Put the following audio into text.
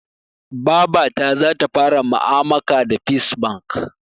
Babata zata fara ma'amaka da fes bank